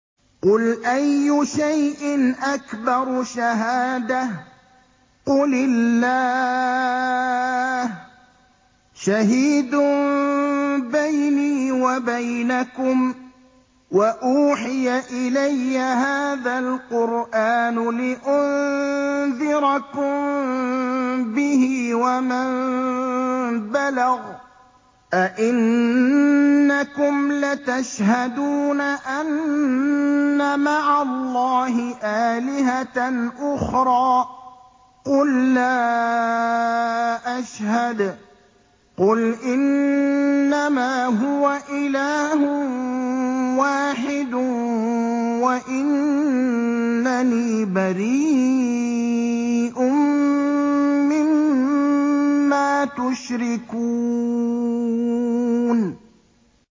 قُلْ أَيُّ شَيْءٍ أَكْبَرُ شَهَادَةً ۖ قُلِ اللَّهُ ۖ شَهِيدٌ بَيْنِي وَبَيْنَكُمْ ۚ وَأُوحِيَ إِلَيَّ هَٰذَا الْقُرْآنُ لِأُنذِرَكُم بِهِ وَمَن بَلَغَ ۚ أَئِنَّكُمْ لَتَشْهَدُونَ أَنَّ مَعَ اللَّهِ آلِهَةً أُخْرَىٰ ۚ قُل لَّا أَشْهَدُ ۚ قُلْ إِنَّمَا هُوَ إِلَٰهٌ وَاحِدٌ وَإِنَّنِي بَرِيءٌ مِّمَّا تُشْرِكُونَ